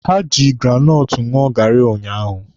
Ha ji granọtụ ṅụọ gaarị unyaahụ.